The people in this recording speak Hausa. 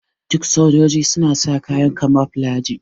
Duk sojoji suna sa kayan kamoflaji.